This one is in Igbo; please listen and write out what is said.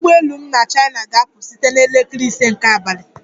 Ụgbọ elu m na China ga-apụ site na elekere ise nke abalị